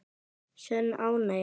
Sönn ánægja.